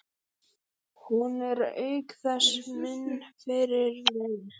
Hún er auk þess minn fyrirliði.